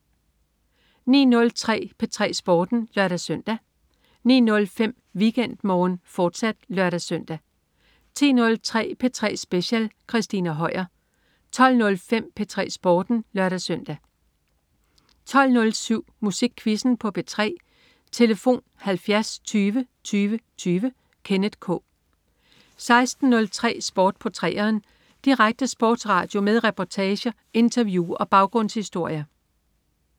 09.03 P3 Sporten (lør-søn) 09.05 WeekendMorgen med Annamette Fuhrmann, fortsat (lør-søn) 10.03 P3 Speciel. Christina Høier 12.05 P3 Sporten (lør-søn) 12.07 Musikquizzen på P3. Tlf.: 70 20 20 20. Kenneth K 16.03 Sport på 3'eren. Direkte sportsradio med reportager, interview og baggrundshistorier